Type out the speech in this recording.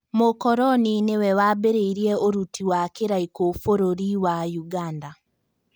Mũkoroni nĩwe wambĩrĩirie ũruti wa kĩraiko Bũrũri wa Uganda